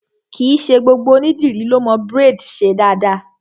Kìí ṣe gbogbo ònídìrí lọ mo braids ṣe dáadáa.